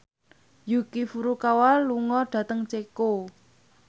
Yuki Furukawa lunga dhateng Ceko